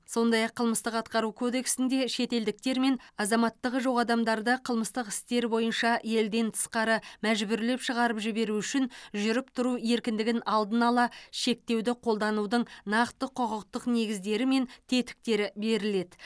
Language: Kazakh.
сондай ақ қылмыстық атқару кодексінде шетелдіктер мен азаматтығы жоқ адамдарды қылмыстық істер бойынша елден тысқары мәжбүрлеп шығарып жіберу үшін жүріп тұру еркіндігін алдын ала шектеуді қолданудың нақты құқықтық негіздері мен тетіктері беріледі